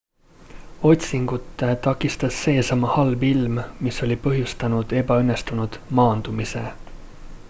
otsingut takistas seesama halb ilm mis oli põhjustanud ebaõnnestunud maandumise